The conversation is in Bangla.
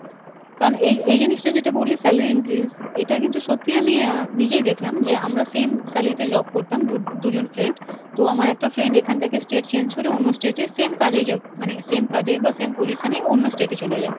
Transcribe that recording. কারণ এই এই জিনিসটা যেটা বললি salary increase এটা কিন্তু সত্যিই আমি আহ নিজেই দেখলাম যে আমরা same salary তে job করতাম দু~ দুজন friend, তো আমার একটা friend এখান থেকে state change করে অন্য state এ same কাজেই জ মানে same কাজেই বা same position এ অন্য state এ চলে যাই,